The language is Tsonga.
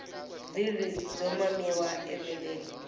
vulyi byo mamiwa eveleni